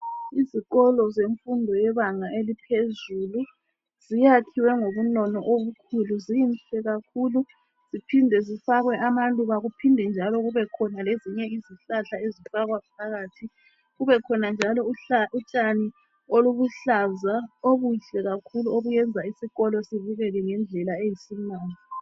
Izikolo zemfundo yebanga eliphezulu. Ziyakhiwe ngohunono okukhulu. Zinhle kakhulu. Siphinde sifakwe amaluba kuphinde njalo kubekhona lezinye izihlahla ezifakwa phakathi Kubekhona njalo utshani obuluhlaza obuhle kakhulu obenza isikoli sibe sihle kakhulu.